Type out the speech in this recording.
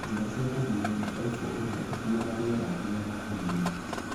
Njĩra cia kũhuhia nĩ baibũ iria ikuaga riera rĩa rĩera ginya mahũriinĩ.